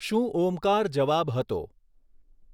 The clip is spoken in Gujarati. શું ઓમકાર જવાબ હતો?